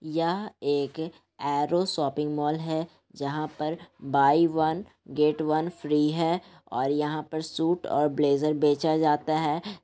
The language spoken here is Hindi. यह एक ऐरो शॉपिंग मॉल है जहाँ पर buy one get one free है और यहाँ पे सूट और ब्लेजर बेचा जाता है।